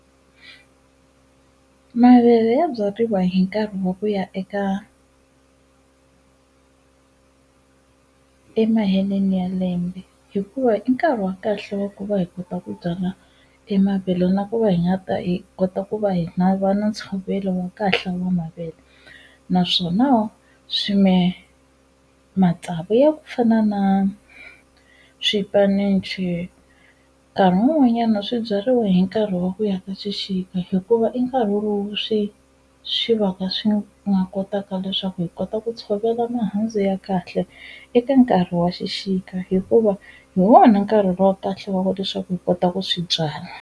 Mavele ya byariwa hi nkarhi wa ku ya eka emaheleni ya lembe hikuva i nkarhi wa kahle wa ku va hi kota ku byala e mavele na ku va hi nga ta hi kota ku va hi na va na ntshovelo wa kahle wa mavele naswona matsavu ya ku fana na swipanichi nkarhi wun'wanyana swi byariwa hi nkarhi wa ku ya ka xixika hikuva i nkarhi lowu swi swi va ka swi nga kotaka leswaku hi kota ku tshovela mihandzu ya kahle eka nkarhi wa xixika hikuva hi wona nkarhi wa kahle wa ku leswaku hi kota ku swi byala.